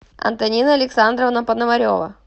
антонина александровна пономарева